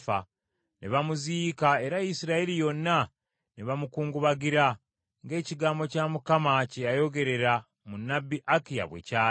Ne bamuziika, era Isirayiri yonna ne bamukungubagira ng’ekigambo kya Mukama kye yayogerera mu nnabbi Akiya bwe kyali.